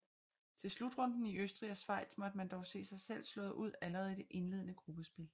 Til slutrunden i Østrig og Schweiz måtte man dog se sig slået ud allerede i det indledende gruppespil